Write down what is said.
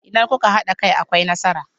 Idan kuka hada kai akwai nasara.